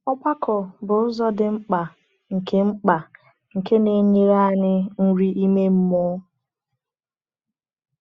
Ọgbakọ bụ ụzọ dị mkpa nke mkpa nke na-enyere anyị nri ime mmụọ.